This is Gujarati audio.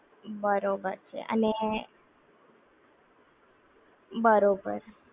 બરોબર છે અને, બરોબર